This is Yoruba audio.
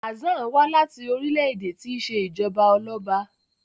Hassan wá láti orílẹ̀-èdè tí ṣe Ijọba Ọlọba